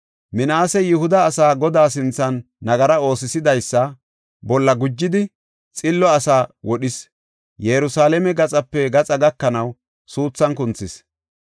Minaasey Yihuda asaa, Godaa sinthan nagara oosisidaysa bolla gujidi, xillo asaa wodhis; Yerusalaame gaxape gaxa gakanaw, suuthan kunthis.